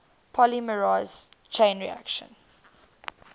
polymerase chain reaction